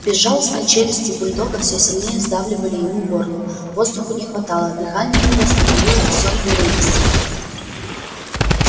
безжалостные челюсти бульдога все сильнее сдавливали ему горло воздуху не хватало дыхание его становилось все прерывистее